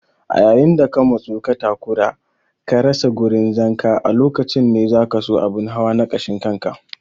A yayin da ka matsu ka takura ka rasa gurin zanka a lokacin ne zakaso abun hawa na kashin kanka.